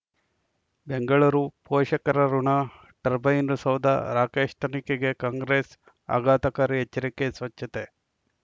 ಬೆಂಗಳೂರು ಪೋಷಕರಋಣ ಟರ್ಬೈನು ಸೌಧ ರಾಕೇಶ್ ತನಿಖೆಗೆ ಕಾಂಗ್ರೆಸ್ ಆಘಾತಕಾರಿ ಎಚ್ಚರಿಕೆ ಸ್ವಚ್ಛತೆ